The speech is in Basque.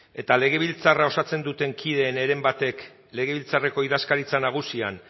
eta legebiltzarra osatzen duten kideen heren batek legebiltzarreko idazkaritza nagusian